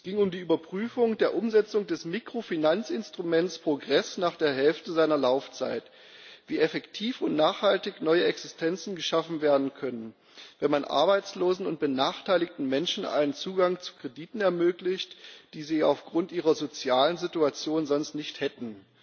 Es ging um die Überprüfung der Umsetzung des Mikrofinanzinstruments Progress nach der Hälfte seiner Laufzeit darauf, wie effektiv und nachhaltig neue Existenzen geschaffen werden können, wenn man Arbeitslosen und benachteiligten Menschen einen Zugang zu Krediten ermöglicht, die sie auf Grund ihrer sozialen Situation sonst nicht hätten.